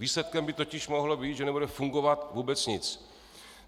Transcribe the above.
Výsledkem by totiž mohlo být, že nebude fungovat vůbec nic.